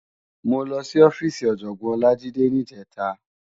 Mó lòsí òfisí Òjògbòn Olajide nijètá